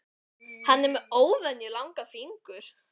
Hann er með óvenjulega langa fingur.